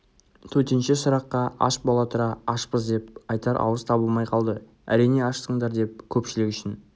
төтенше сұраққа аш бола тұра ашпыз деп айтар ауыз табылмай қалды әрине ашсыңдар деп көпшілік үшін